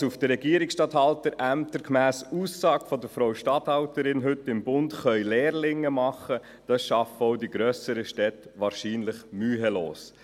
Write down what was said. Was auf den Regierungsstatthalterämtern gemäss Aussage der Frau Statthalterin heute im «Bund» Lehrlinge tun können, schaffen auch die grösseren Städte wahrscheinlich mühelos.